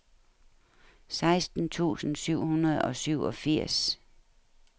seksten tusind syv hundrede og syvogfirs